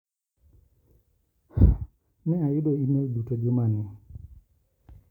Ne ayudo imel duto juma ni.